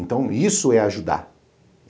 Então isso é ajudar.